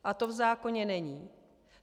A to v zákoně není.